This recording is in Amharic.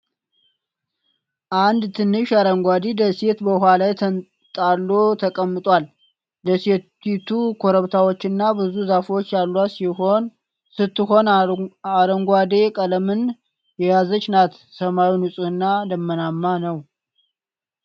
አንድ ትንሽ አረንጓዴ ደሴት በውሃ ላይ ተንጣሎ ተቀምጧል። ደሴቲቱ ኮረብታዎችና ብዙ ዛፎች ያሏት ስትሆን አረንጓዴ ቀለምንም የያዘች ናት። ሰማዩ ንጹህ እና ደመናማ ነው።